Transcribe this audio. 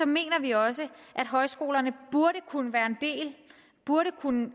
mener vi også at højskolerne burde kunne være en del burde kunne